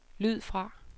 lyd fra